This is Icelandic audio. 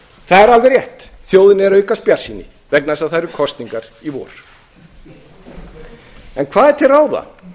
það er alveg rétt þjóðinni er að aukast bjartsýni vegna þess að það eru kosningar í vor en hvað er til ráða